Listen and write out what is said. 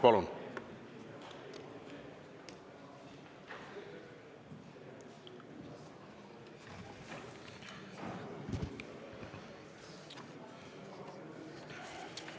Palun!